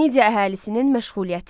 Midiya əhalisinin məşğuliyyəti.